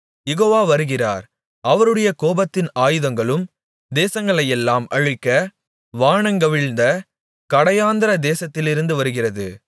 யெகோவா வருகிறார் அவருடைய கோபத்தின் ஆயுதங்களும் தேசத்தையெல்லாம் அழிக்க வானங்கவிழ்ந்த கடையாந்தர தேசத்திலிருந்து வருகிறது